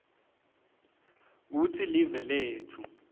kutsi live letfu